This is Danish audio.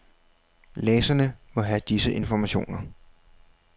Læserne må have disse informationer.